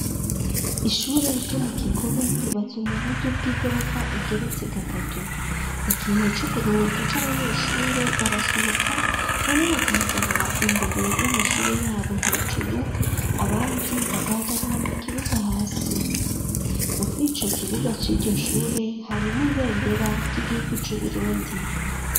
Ishure ryo mu Kigobe ryubatswe mu buryo bw'igorofa igeretse gatatu. Igihe co kuruhuka c'abanyeshure, barasohoka bamwe bagahagarara imbere y'amashure yabo hejuru, abandi bagahagarara mu kibuga hasi. Mur'ico kibuga c'iryo shure hari n'ibendera ry'igihugu c'Uburundi.